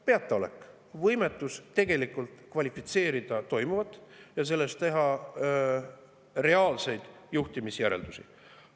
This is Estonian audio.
Peataolek, võimetus tegelikult kvalifitseerida toimuvat ja teha sellest reaalseid juhtimisjäreldusi.